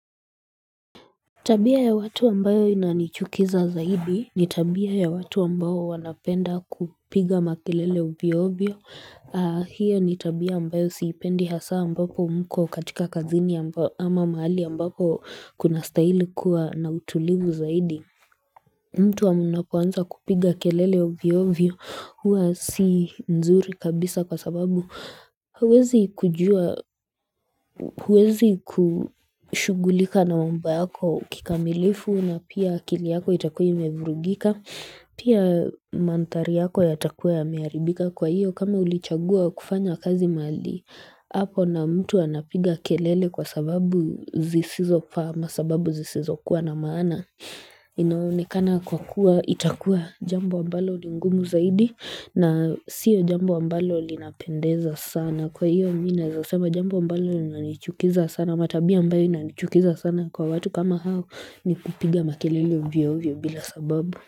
Tabia ya watu ambayo inanichukiza zaidi ni tabia ya watu ambayo wanapenda kupiga makelele uvyo ovyo. Hio ni tabia ambayo siipendi hasa ambapo mko katika kazini ama mahali ambapo kuna stahili kuwa na utulivu zaidi. Mtu wa mnapoanza kupiga kelele uvyo ovyo huwa si nzuri kabisa kwa sababu huwezi kujua huwezi kushugulika na mambo yako kikamilifu na pia akili yako itakuwa imevurugika pia mandhari yako yatakuwa yamearibika kwa iyo kama ulichagua kufanya kazi mali hapo na mtu anapiga kelele kwa sababu zisizo faa ama sababu zisizo kuwa na maana ina onekana kwa kuwa itakuwa jambo ambalo ni ngumu zaidi na siyo jambo ambalo linapendeza sana kwa hiyo mi naeza sema jambo ambalo inanichukiza sana ama tabia ambayo inanichukiza sana kwa watu kama hao ni kupiga makelele ovyo ovyo bila sababu.